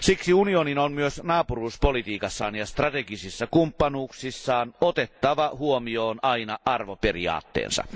Siksi unionin on myös naapuruuspolitiikassaan ja strategisissa kumppanuuksissaan otettava huomioon aina arvoperiaatteensa.